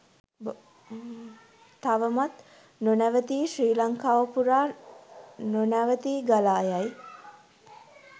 තවමත් නොනැවතී ශ්‍රී ලංකාව පුරා නොනැවතී ගලායයි